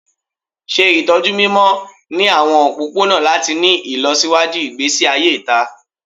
Ṣe itọju mimọ ni awọn opopona lati ni ilọsiwaju igbesi aye ita